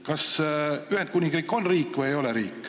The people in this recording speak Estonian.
Kas Ühendkuningriik on riik või ei ole?